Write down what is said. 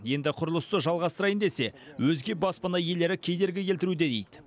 енді құрылысты жалғастырайын десе өзге баспана иелері кедергі келтіруде дейді